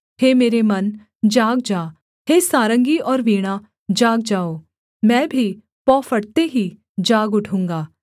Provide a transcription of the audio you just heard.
हे मेरे मन जाग जा हे सारंगी और वीणा जाग जाओ मैं भी पौ फटते ही जाग उठूँगा